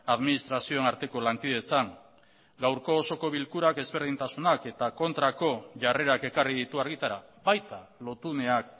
administrazioen arteko lankidetzan gaurko osoko bilkurak ezberdintasunak eta kontrako jarrerak ekarri ditu argitara baita lotuneak